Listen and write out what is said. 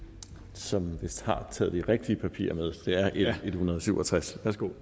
som vist har taget de rigtige papirer med det er l en hundrede og syv og tres